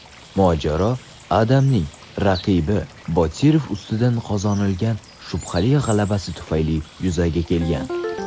mojaro Adamning raqibi Botirov ustidan qozonilgan shubhali g‘alabasi tufayli yuzaga kelgan.